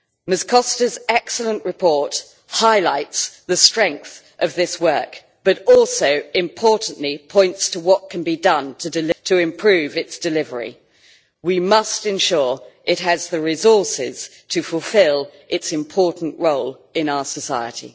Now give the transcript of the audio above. Ms Costa's excellent report highlights the strength of this work, but also importantly points to what can be done to improve its delivery. We must ensure it has the resources to fulfil its important role in our society.